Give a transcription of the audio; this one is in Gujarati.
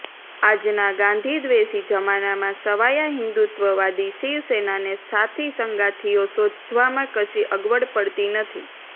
આજના ગાંધીદ્વેષી જમાનામાં સવાયા હિન્દુત્વવાદી શિવસેનાને સાથીસંગાથીઓ શોધવામાં કશી અગવડ પડતી નથી